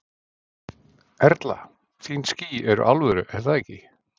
Erla: Þín ský eru alvöru er það ekki?